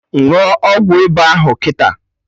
Ṅụọ ọgwụ ịba ahụ kịta!